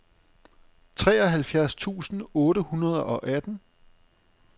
treoghalvfjerds tusind otte hundrede og atten